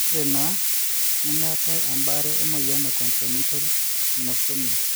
ore naa nemeetae ebaare emoyian e congenital anosmia.